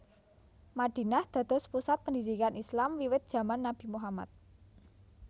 Madinah dados pusat pendidikan Islam wiwit jaman Nabi Muhammad